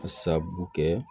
A sababu kɛ